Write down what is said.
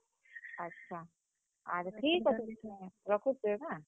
ଆଛା, ଆର୍ ଠିକ୍ ଅଛେ ରଖୁଛେଁ ହେଁ।